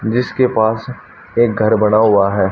जिसके पास एक घर बना हुआ है।